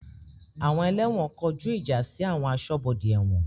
Àwọn ẹlẹ́wọ̀n kọjú ìjà sí àwọn aṣọ́bodè ẹ̀wọ̀n